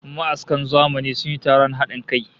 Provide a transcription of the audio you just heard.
Ma'askan zamani sun yi taron hadin kai